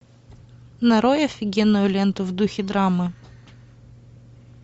нарой офигенную ленту в духе драмы